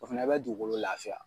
O fɛnɛ bɛ dugukolo laafiya.